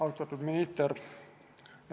Austatud minister!